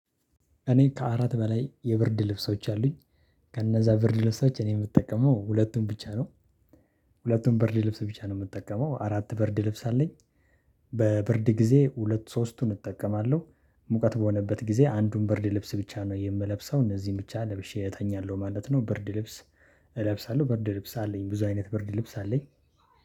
እኔ ከአራት በላይ የብርድ ልብሶች አሉኝ ከነዛ ብርድ ልብሶች እኔ የምጠቀመው ሁለቱን ብቻ ነው። ሁለቱን በርድ ልብስ ብቻ ነው የምጠቀመው አራት ብርድ ልብስ አለኝ። በበርድ ጊዜ ሁለት ሶስቱን እጠቀማለሁ። ሙቀት በሆነበት ጊዜ አንዱን ብርድ ልብስ ብቻ ነው የምለብሰው እነዚህን ብቻ ለብሼ እተኛለሁ ማለት ነው። ብርድ ልብስ። እለብሳለሁ ብርድ ልብስ አለኝ ብዙ አይነት ብርድ ልብስ አለኝ።